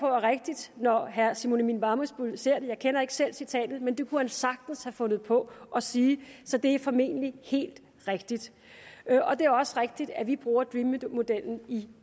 er rigtigt når herre simon emil ammitzbøll siger det jeg kender ikke selv citatet men det kunne finansministeren sagtens have fundet på at sige så det er formentlig helt rigtigt det er også rigtigt at vi bruger dream modellen i